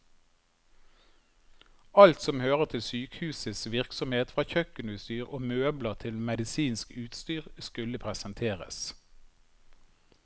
Alt som hører til sykehusets virksomhet, fra kjøkkenutstyr og møbler til medisinsk utstyr, skulle presenteres.